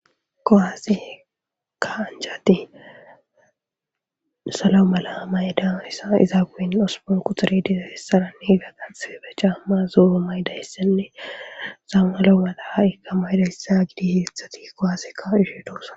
Kuwase ka'anichat salo mala mayidassa izaa guyen osupun quxure dizasaranne higa qanxebe caamma zooo maydayssenne saama lo mataikamaydayssa gidi heedzat kuwaasekka ka'ishe de'osa